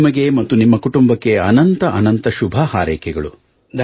ನಿಮಗೆ ಮತ್ತು ನಿಮ್ಮ ಕುಟುಂಬಕ್ಕೆ ಅನಂತ ಅನಂತ ಶುಭ ಹಾರೈಕೆಗಳು